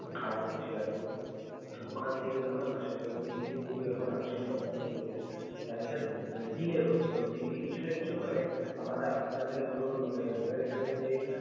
খারাপ হচ্ছে আরও. তো ওখান থেকে যখন আসে এর দিল্লিতে যেহেতু এখন আংশিক lockdown চলবে, তাহলে sir মানে delay হচ্ছে. প্রতিদিনই কিছু না কিছু মানে আমার~ আপনাদের ধরুন মানে আমাদের এখানে যে।